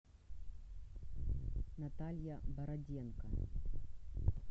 наталья бороденко